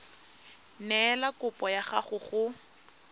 neela kopo ya gago go